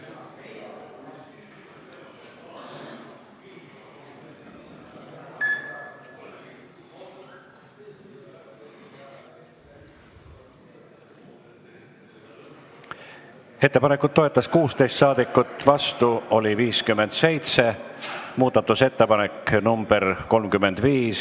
Hääletustulemused Ettepanekut toetas 16 ja vastu oli 57 saadikut.